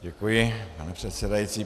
Děkuji, pane předsedající.